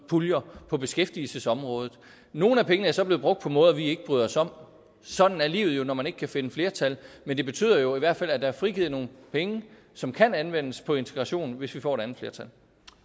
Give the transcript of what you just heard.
puljer på beskæftigelsesområdet nogle af pengene er så blevet brugt på måder som vi ikke bryder os om sådan er livet jo når man ikke kan finde flertal men det betyder jo i hvert fald at der er frigivet nogle penge som kan anvendes på integration hvis vi får et andet flertal